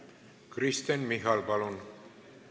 Kristen Michal, palun!